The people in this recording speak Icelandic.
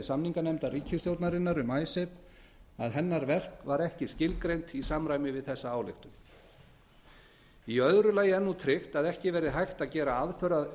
samninganefndar ríkisstjórnarinnar um icesave var ekki skilgreint í samræmi við þessa ályktun annars tryggt er nú að ekki verði hægt að gera aðför að